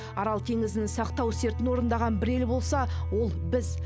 арал теңізін сақтау сертін орындаған бір ел болса ол біз